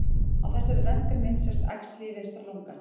Á þessari röntgenmynd sést æxli í vinstra lunga.